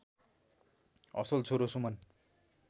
असल छोरो सुमन